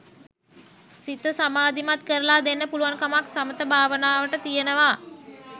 සිත සමාධිමත් කරලා දෙන්න පුළුවන්කමක් සමථ භාවනාවට තියෙනවා.